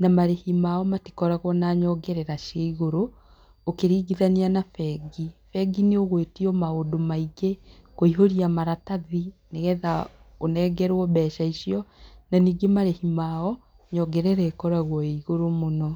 na marĩhi mao matikoragwo na nyongerera cia igũrũ ũkĩringithania na bengi, bengi nĩ ũgwĩtio maũndũ maingĩ, kũiyũria maratathi nĩgetha ũnengerwo mbeca icio na ningĩ marĩhi mao nyongerera ĩkoragwo ĩĩ igũrũ mũno.